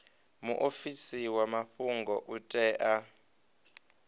muofisi wa mafhungo u tea